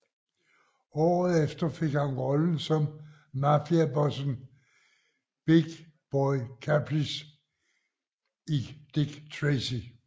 Året efter fik han rollen som mafiabossen Big Boy Caprice i Dick Tracy